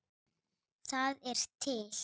Það er til